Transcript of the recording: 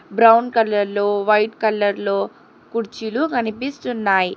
Brown కలర్లో white కలర్లో కుర్చీలు కనిపిస్తున్నాయి.